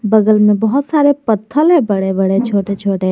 बगल में बहुत सारे पत्थल है बड़े बड़े छोटे छोटे।